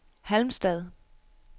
Halmstad